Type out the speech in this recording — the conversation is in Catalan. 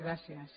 gràcies